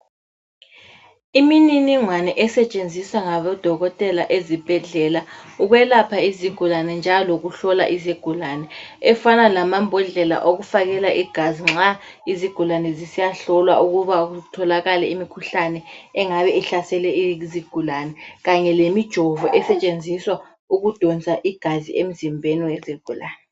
Imininingwane esetshenziswa ngabodokotela ezibhedlela ukwelapha izigulane njalo lokuhlola izigulane efana lamambodlela okufakela igazi nxa izigulane zisiyahlolwa ukuba kutholakale imikhuhlane engabe ihlasele izigulane kanye lemijovo esetshenziswa ukudonsa igazi emzimbeni wezigulane.